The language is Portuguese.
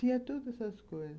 Tinha todas essas coisas.